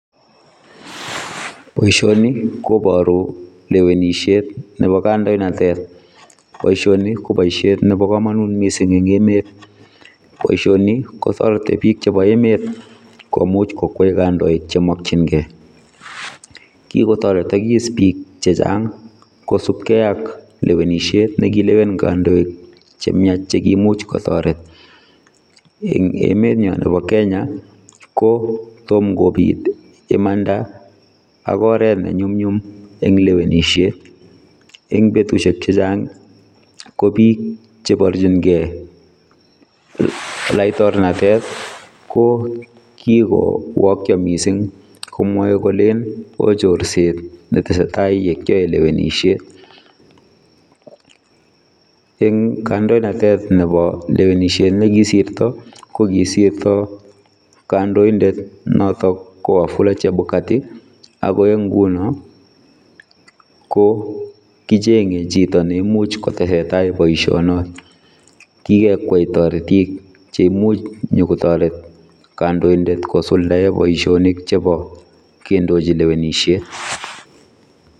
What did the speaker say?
Boisioni kobaruu lewenisiet nebo kandoinatet , boisioni ko boisiet nebo kamanut eng emet , boisioni kotaretii biik chebo emet komuuch kokwai kandoik che makyinigei kikotaretagis biik chechaang kosupgei ak lewenisiet ne kileween kandoik che miach cheimuuch kotaretiin ,eng emet nyaan nebo Kenya ko tom kobiit ii imanda ak oret ne nyumnyum en lewenisiet, eng betusiek che chaang ko biik che barjingei laitornatet ii ko kikowakia missing komwae kolen wooh chorseet ne tesetai ne kyae lewenisiet, eng kandoinatet nebo lewenisiet nekisorto ko kisirto kandoindet notoon ko wafula chebukatii ago en ngunoo ko kochengei chitoo neimuuch kotesentai boision noet, kikekwai taretiik cheimuuch inyokotaret kandoindet kosuldaen boisanik chebo kendochi lewenisiet.